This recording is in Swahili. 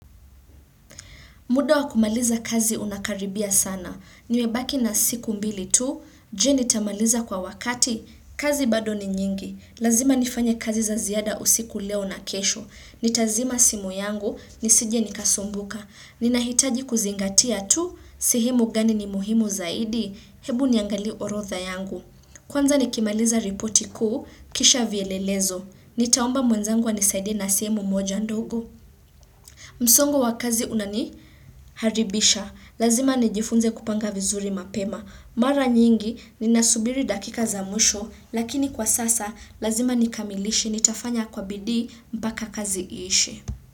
Muda wa kumaliza kazi unakaribia sana. Nimebaki na siku mbili tu, je nitamaliza kwa wakati, kazi bado ni nyingi. Lazima nifanye kazi za ziada usiku leo na kesho. Nitazima simu yangu, nisije nikasumbuka. Ninahitaji kuzingatia tu, sihemu gani ni muhimu zaidi, hebu niangalie orotha yangu. Kwanza nikimaliza ripoti kuu, kisha vielelezo. Nitaomba mwenzangu anisaide na simu moja ndogo. Msongo wa kazi unaniharibisha. Lazima nijifunze kupanga vizuri mapema. Mara nyingi ninasubiri dakika za mwisho lakini kwa sasa lazima nikamilishi ni tafanya kwa bidii mpaka kazi ishi.